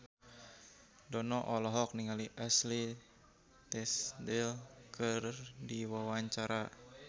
Dono olohok ningali Ashley Tisdale keur diwawancara